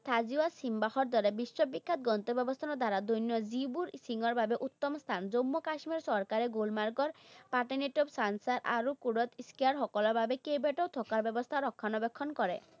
দৰে বিশ্ববিখ্যাত গন্তব্যস্থান দ্বাৰা যিবোৰ skiing ৰ বাবে উত্তম স্থান, জম্মু কাশ্মীৰ চৰকাৰে গুলমাৰ্গৰ আৰু সকলৰ বাবে কেইবাটাও থকাৰ ব্যৱস্থাৰ ৰক্ষণাবেক্ষণ কৰে।